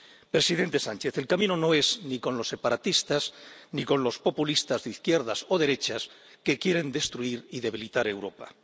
Presidente Sánchez, el camino no es ni con los separatistas ni con los populistas de izquierdas o derechas que quieren destruir y debilitar Europa.